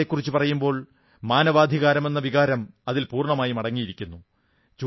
ന്യായത്തെക്കുറിച്ചു പറയുമ്പോൾ മാനവാധികാരമെന്ന വികാരം അതിൽ പൂർണ്ണമായും അടങ്ങിയിരിക്കുന്നു